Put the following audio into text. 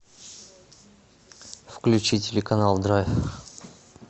включи телеканал драйв